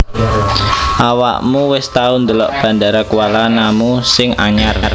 Awakmu wis tau ndelok Bandara Kuala Namu sing anyar